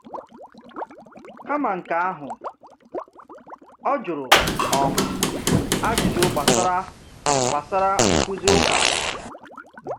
Kama nke ahụ, ọ jụrụ um ajụjụ gbasara gbasara nkuzi ụka.